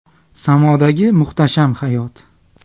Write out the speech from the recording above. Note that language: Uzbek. Samodagi muhtasham hayot.